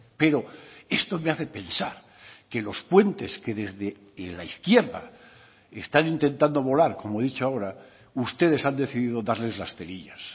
pero esto me hace pensar que los puentes que desde la izquierda están intentando volar como he dicho ahora ustedes han decidido darles las cerillas